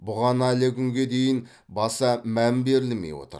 бұған әлі күнге дейін баса мән берілмей отыр